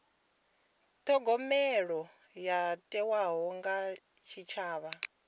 thogomelo yo thewaho kha tshitshavha